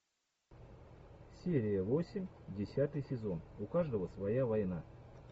серия восемь десятый сезон у каждого своя война